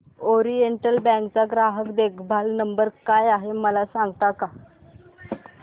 oriental Bank चा ग्राहक देखभाल नंबर काय आहे मला सांगता का